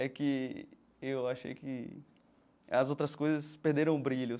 É que eu achei que as outras coisas perderam o brilho.